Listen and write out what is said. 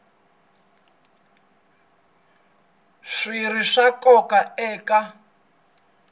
swi ri swa nkoka eka